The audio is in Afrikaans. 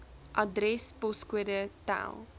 adres poskode tel